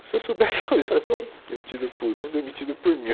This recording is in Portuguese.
Se eu soubesse, falaria assim, bom, demitido por um, demitido por mil.